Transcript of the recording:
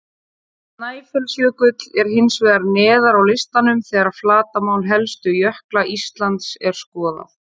Snæfellsjökull er hins vegar neðar á listanum þegar flatarmál helstu jökla Íslands er skoðað.